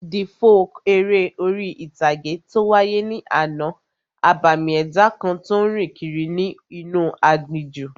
The folk eré orí-ìtàgé tó wáyé ní àná, abàmì ẹ̀dá kan tó n rìn kiri inú aginjù